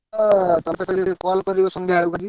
ତତେ କାଲି call କରିବି ସନ୍ଧ୍ୟା ବେଳକୁ ଆଜି।